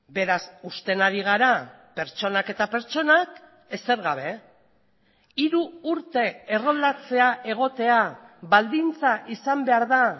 beraz uzten ari gara pertsonak eta pertsonak ezer gabe hiru urte erroldatzea egotea baldintza izan behar da